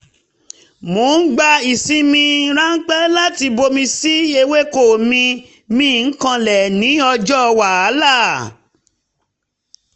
mo ń gba ìsinmi ráńpẹ́ láti bomi sí ewéko mi mí kanlẹ̀ ní ọjọ́ wàhálà